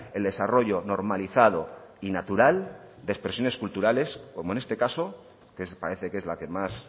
el desarrollo normalizado y natural de expresiones culturales como en este caso que parece que es la que más